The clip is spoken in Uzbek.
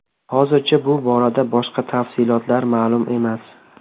Hozircha bu borada boshqa tafsilotlar ma’lum emas.